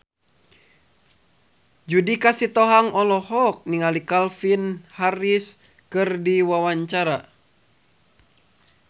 Judika Sitohang olohok ningali Calvin Harris keur diwawancara